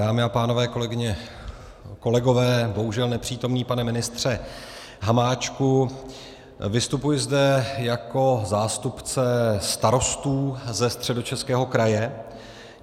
Dámy a pánové, kolegyně, kolegové, bohužel nepřítomný pane ministře Hamáčku, vystupuji zde jako zástupce starostů ze Středočeského kraje.